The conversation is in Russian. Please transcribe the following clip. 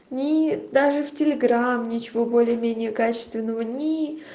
ни даже в телеграм ничего более менее качественного ни